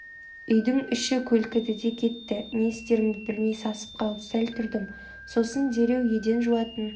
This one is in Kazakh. үйдің іші көлкіді де кетті не істерімді білмей сасып қалып сәл тұрдым сосын дереу еден жуатын